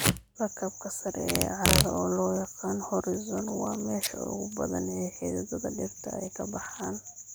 Lakabka sare ee carrada, oo loo yaqaan horizon, waa meesha ugu badan ee xididdada dhirta ay ka baxaan.